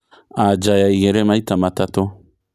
anja ya igĩri maĩta matatu